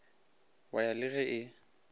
wa ya le ge e